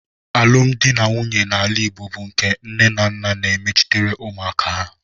Alụmdi na nwunye n'ala Igbo bụ nke nnenanna na-emechitere ụmụaka ha.